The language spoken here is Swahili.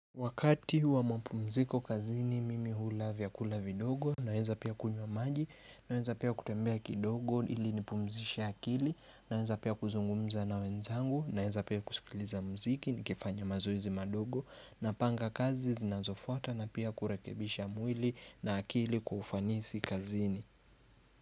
Wakati wa mapumziko kazini mimi hula vyakula vidogo, naenza pia kunywa maji, naeza pia kutembea kidogo ili nipumzisha akili, naeza pia kuzungumza na wenzangu, naeza pia kusikiliza mziki nikifanya mazoezi madogo, napanga kazi zinazofuata na pia kurekebisha mwili na akili kwa ufanisi kazini.